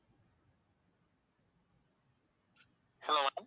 hello